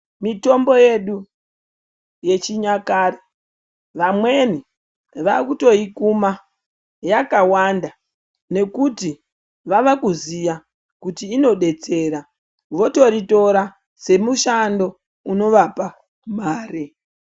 Mitombo yedu yechinyakare vamweni vakutoikuma yakawanda nekuti vavakuziya kuti inodetsera votoritora semushando unovapa mare.